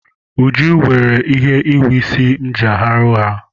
Uju weere ihe nhiwe isi m ji arahụ ụra.